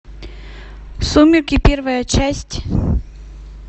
сумерки первая часть